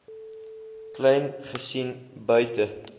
kleyn gesien buite